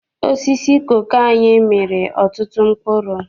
Osisi koko anyị mịrị ọtụtụ mkpụrụ.